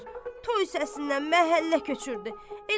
Toy səsindən məhəllə köçürdü.